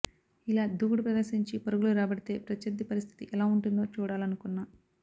ఇలా దూకుడు ప్రదర్శించి పరుగులు రాబడితే ప్రత్యర్థి పరిస్థితి ఎలా ఉంటుందో చూడాలనుకున్నా